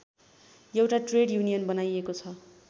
एउटा trade union बनाइएको छ